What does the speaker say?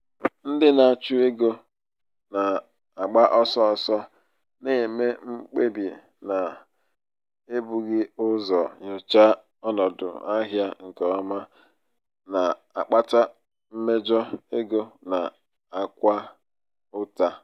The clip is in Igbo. ndị na-achụ um ego um na-agba ọsọ ọsọ na-eme mkpebi n'ebughị ụzọ nyochaa um ọnọdụ ahịa nke ọma na-akpata mmejọ ego na-akwa ụta.